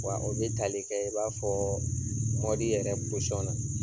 Wa o bɛ tali kɛ i n'a fɔ yɛrɛ na.